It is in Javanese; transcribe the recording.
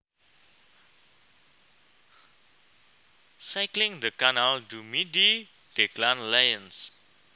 Cycling the Canal du Midi Declan Lyons